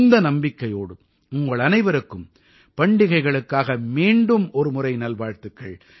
இந்த நம்பிக்கையோடு உங்களனைவருக்கும் பண்டிகைகளுக்காக மீண்டும் ஒரு முறை நல்வாழ்த்துக்கள்